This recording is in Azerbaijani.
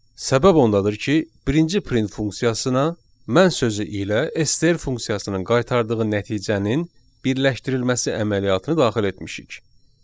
Səbəb ondadır ki, birinci print funksiyasına mən sözü ilə STR funksiyasının qaytardığı nəticənin birləşdirilməsi əməliyyatını daxil etmişik.